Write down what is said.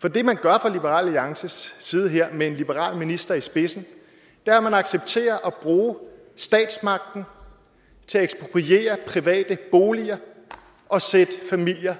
for det man gør fra liberal alliances side her med en liberal minister i spidsen er at man accepterer at bruge statsmagten til at ekspropriere private boliger og sætte familier